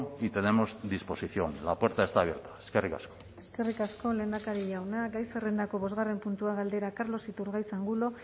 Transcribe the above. y tenemos disposición la puerta está abierta eskerrik asko eskerrik asko lehendakari jauna gai zerrendako bosgarren puntua galdera carlos iturgaiz angulo